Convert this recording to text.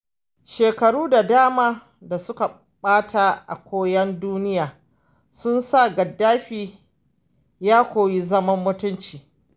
Shekaru da dama da suka ɓata a yawon duniya sun sa Gaddafi ya koyi zaman mutunci.